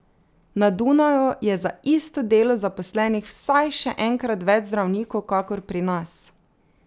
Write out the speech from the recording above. Na Dunaju je za isto delo zaposlenih vsaj še enkrat več zdravnikov kakor pri nas.